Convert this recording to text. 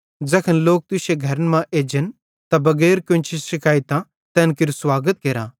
ज़ैखन लोक तुश्शे घरन मां एजन त बगैर कोन्ची शिकायतां तैन केरू स्वागत केरा